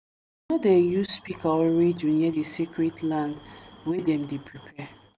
no dey use speaker or radio near di sacred land wey dem dey prepare.